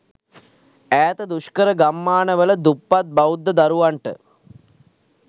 ඈත දුෂ්කර ගම්මාන වල දුප්පත් බෞද්ධ දරුවන්ට